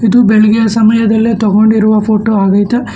ಇದು ಬೆಳಗ್ಗೆ ಸಮಯದಲ್ಲಿ ತಗೊಂಡಿರುವ ಫೋಟೋ ಆಗೖತೆ.